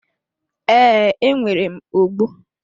Ee, nwere m ogbo.